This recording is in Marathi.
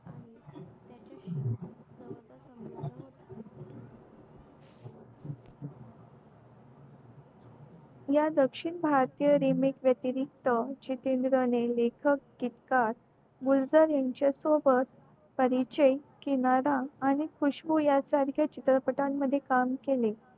या दक्षिण भारतीय remix वेतिरिक्त जितेंद्र ने लेखक इतका गुलजार त्यांच्या सोबत परिचय किनारा आणि खुशबुया सारख्या चित्रपटा मध्ये काम केले